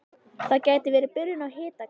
Það gæti verið byrjun á hitakasti